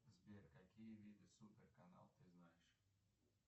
сбер какие виды супер канал ты знаешь